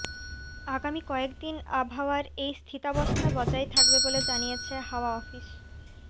আগামী কয়েকদিন আবহাওয়ার এই স্থিতাবস্থা বজায় থাকবে বলে জানিয়েছে হাওয়া অফিস